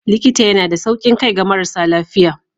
Likita yana da saukin kai ga marasa lafiya.